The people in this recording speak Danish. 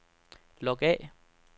log af